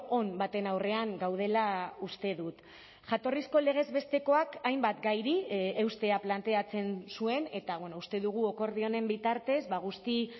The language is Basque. on baten aurrean gaudela uste dut jatorrizko legez bestekoak hainbat gairi eustea planteatzen zuen eta uste dugu akordio honen bitartez guzti